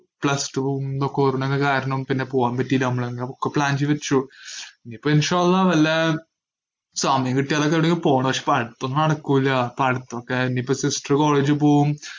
plus two വും ഇതൊക്കെ ഓരോന്നൊക്കെ കാരണം പിന്നെ പോവാൻ പറ്റീല്ല, നമ്മളങ്ങനെ ഒക്കെ plan ചെയ്തുവെച്ചു. ഇനിയിപ്പോ വല്ല സമയം കിട്ടിയാലൊക്കെ അവിടേക്ക് പോണം. പക്ഷേ പഠിത്തം നടക്കൂല്ല, പഠിത്തൊക്കെ ഇനിയിപ്പോ sister college ഇൽ പോവും,